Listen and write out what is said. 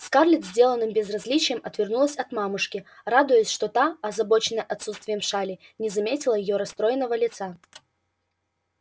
скарлетт с деланным безразличием отвернулась от мамушки радуясь что та озабоченная отсутствием шали не заметила её расстроенного лица